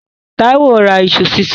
Táíwó ra iṣu sísun.